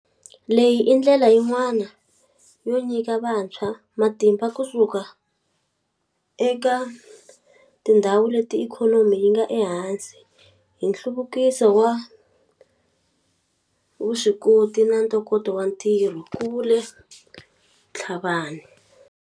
Leyi i ndlela yin'wana yo nyika vantshwa matimba kusuka eka tindhawu leti ikhonomi yi nga ehansi hi nhluvukiso wa vuswikoti na ntokoto wa ntirho, ku vule Tlhabanea.